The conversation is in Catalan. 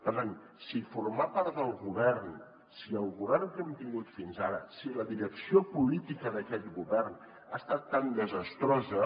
per tant si formar part del govern si el govern que hem tingut fins ara si la direcció política d’aquest govern ha estat tan desastrosa